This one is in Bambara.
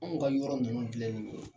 Anw ka yɔrɔ nunnu filɛ nin ye